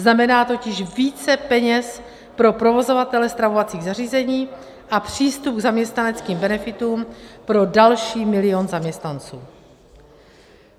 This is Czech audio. Znamená totiž více peněz pro provozovatele stravovacích zařízení a přístup k zaměstnaneckým benefitům pro další milion zaměstnanců.